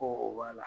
Ko o b'a la